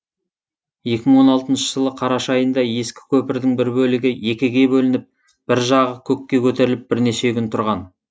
екі мың он алтыншы жылы қараша айында ескі көпірдің бір бөлігі екіге бөлініп бір жағы көкке көтеріліп бірнеше күн тұрған